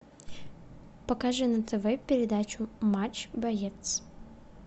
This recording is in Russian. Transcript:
покажи на тв передачу матч боец